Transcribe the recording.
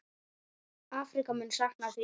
Afríka mun sakna þín.